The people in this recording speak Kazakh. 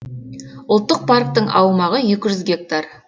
ұлттық парктің аумағы екі жүз гектар